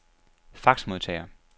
faxmodtager